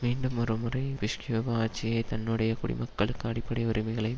மீண்டும் ஒரு முறை புஷ் கியூப ஆட்சியை தன்னுடைய குடிமக்களுக்கு அடிப்படை உரிமைகளை